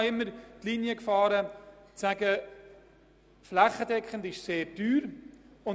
Ich habe immer die Haltung vertreten, dass eine flächendeckende Einführung sehr teuer ist.